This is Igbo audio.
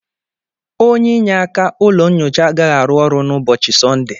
onye inyeaka ụlọ nyocha agaghị arụ ọrụ na ụbọchị Sọnde.